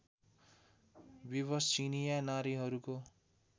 विवश चिनियाँ नारीहरूको